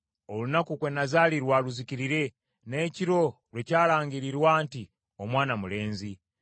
“Olunaku kwe nazaalirwa luzikirire, n’ekiro lwe kyalangirirwa nti omwana mulenzi.